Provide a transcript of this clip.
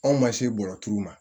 Anw ma se bɔrɔturuw ma